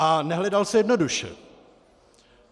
A nehledal se jednoduše.